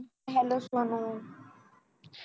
hello Sonal